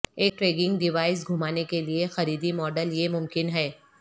ایک tracking device گھمانے کے لیے خریدی ماڈل یہ ممکن ہے